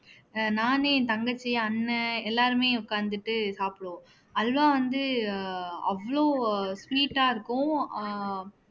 அஹ் நானு என் தங்கச்சி அண்ணன் எல்லாருமே உட்கார்ந்துட்டு சாப்பிடுவோம் அல்வா வந்து அஹ் அவ்ளோ sweet ஆ இருக்கும் ஆஹ்